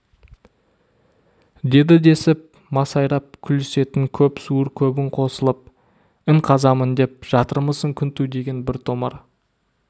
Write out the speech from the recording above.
деді десіп масайрап күлісетін көп суыр көбің қосылып ін қазамын деп жатырмысың күнту деген бір томар